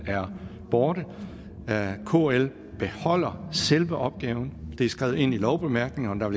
er borte kl beholder selve opgaven det er skrevet ind i lovbemærkningerne og